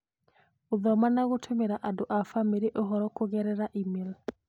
gũthoma na gũtũmĩra andũ a famĩlĩ ũhoro kũgerera e-mail